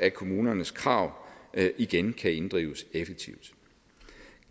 at kommunernes krav igen kan inddrives effektivt